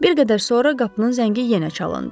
Bir qədər sonra qapının zəngi yenə çalındı.